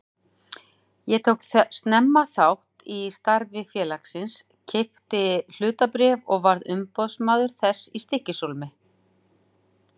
Ég tók snemma þátt í starfi félagsins, keypti hlutabréf og varð umboðsmaður þess í Stykkishólmi.